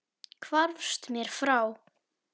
Hvarfst mér frá.